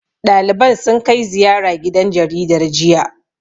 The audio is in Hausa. Ɗaliban sun kai ziyara gidan jaridar, jiya.